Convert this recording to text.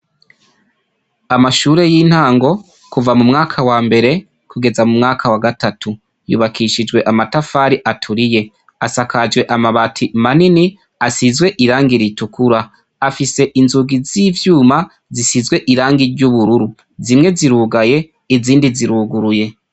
Amashure y'intango kuva mu mwaka wa mbere kugeza mu mwaka wa gatatu yubakishijwe amatafari aturiye asakajwe amabati manini asizwe irangi ritukura afise inzugi z'ivyuma zisizwe irangi ry'ubururu zimwe zirugaye izindi ziruguruye.